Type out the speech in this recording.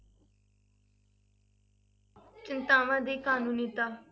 ਚਿੰਤਾਵਾਂ ਦੀ ਕਾਨੂੰਨੀਤਾ।